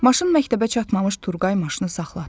Maşın məktəbə çatmamış Turqay maşını saxlatdı.